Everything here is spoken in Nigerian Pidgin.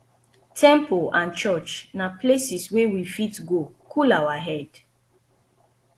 temple and church na places wey we fit go cool our head